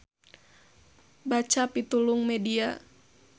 Baca pitulung media.